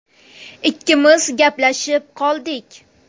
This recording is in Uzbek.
Ikkimiz gaplashib qoldik.